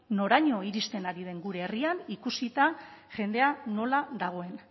noraino iristen ari den gure herrian ikusita jendea nola dagoen